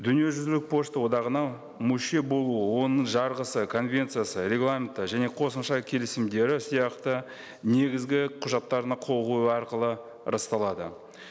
дүниежүзілік пошта одағына мүше болуы оның жарғысы конвенциясы регламенті және қосымша келісімдері сияқты негізгі құжаттарына қол қою арқылы расталады